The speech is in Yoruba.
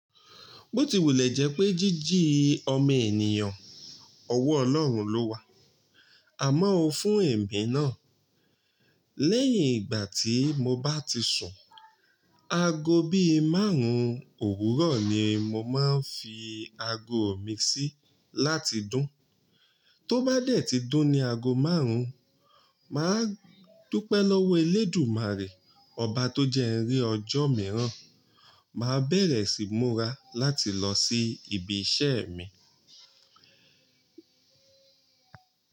Bó ti wùlẹ̀ jẹ́ pé jíjí ọmọ ènìyàn, ọwọ́ Ọlọ́run ló wà, àmọ́ ó fún èmi náà. Lẹ́yìn ìgbà tí mo bá ti sùn, ago bí márùn-ún òwúrọ̀ ni mo máa ń fi ago mi sí láti dún. Tó bá dẹ̀ ti dún ni ago márùn-ún, màá dúpẹ́ lọ́wọ́ Elédùmarè, ọba tó jẹ́ ń rí ọjọ́ mìíràn, màá bẹ̀rẹ̀ sí múra láti lọ sí ibi iṣẹ́ mi.